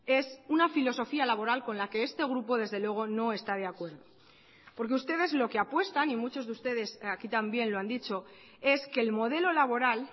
es una filosofía laboral con la que este grupo desde luego no está de acuerdo porque ustedes lo que apuestan y muchos de ustedes aquí también lo han dicho es que el modelo laboral